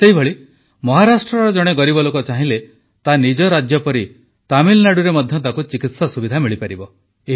ସେହିପରି ମହାରାଷ୍ଟ୍ରର ଜଣେ ଗରିବ ଲୋକ ଚାହିଁଲେ ତା ନିଜ ରାଜ୍ୟ ପରି ତାମିଲନାଡୁରେ ମଧ୍ୟ ତାକୁ ଚିକିତ୍ସା ସୁବିଧା ମିଳିବ